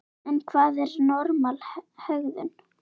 En hvað er normal hegðun?